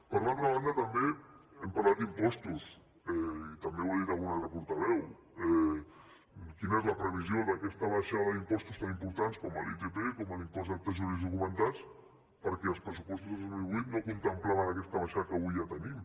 per altra banda també hem parlat d’impostos i també ho ha dit un altre portaveu quina és la previsió d’aquesta baixada d’impostos tan importants com l’itp com l’impost d’actes jurídics documentats perquè els pressupostos del dos mil vuit no contemplaven aquesta baixada que avui ja tenim